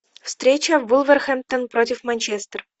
встреча вулверхэмптон против манчестер